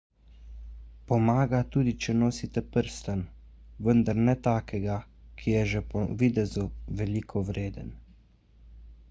pomaga tudi če nosite prstan vendar ne takega ki je že po videzu veliko vreden